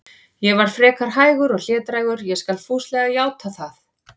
Ég var frekar hægur og hlédrægur, ég skal fúslega játa það.